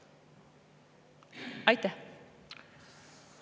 Aitäh!